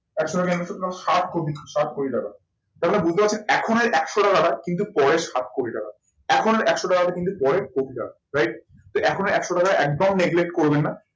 একশো টাকা সাত কোটি, সাত কোটি টাকা। তার মানে বুঝতে পারছেন এখনের একশো টাকাটা কিন্তু পরে সাত কোটি টাকা। এখনের একশো টাকাটা কিন্তু পরে কোটিতে আসবে right? তো এখনের একশো টাকা একদম করবে না